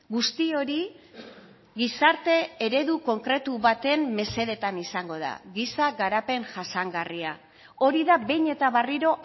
guzti hori gizarte eredu konkretu baten mesedetan izango da giza garapen jasangarria hori da behin eta berriro